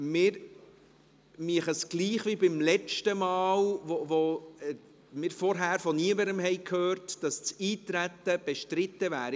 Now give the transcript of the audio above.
Wir würden es gleich machen wie beim letzten Mal, als wir im Vorfeld von niemandem gehört hatten, dass das Eintreten bestritten wäre.